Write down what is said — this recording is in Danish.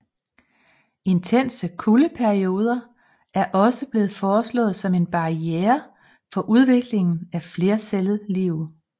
Intense kuldeperioder er også blevet foreslået som en barriere for udviklingen af flercellet liv